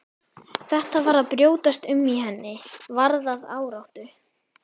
Þetta var að brjótast um í henni, varð að áráttu.